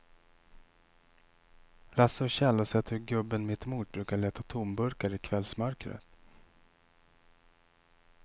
Lasse och Kjell har sett hur gubben mittemot brukar leta tomburkar i kvällsmörkret.